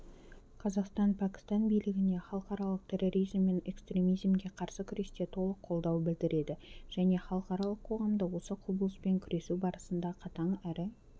қазақстан пәкістан билігіне халықаралық терроризм мен экстремизмге қарсы күресте толық қолдау білдіреді және халықаралық қоғамды осы құбылыспен күресу барысында қатаң әрі